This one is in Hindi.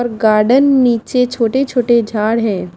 अर गार्डन नीचे छोटे छोटे झाड़ है।